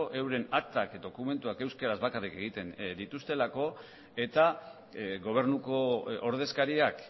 euren aktak dokumentuak euskaraz bakarrik egiten dituztelako eta gobernuko ordezkariak